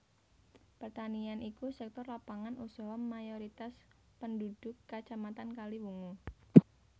Pertanian iku sektor lapangan usaha mayoritas pendhudhuk Kacamatan Kaliwungu